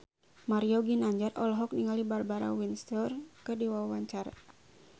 Mario Ginanjar olohok ningali Barbara Windsor keur diwawancara